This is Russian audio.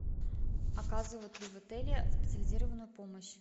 оказывают ли в отеле специализированную помощь